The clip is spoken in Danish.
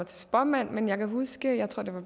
til spåmand men jeg kan huske jeg tror det var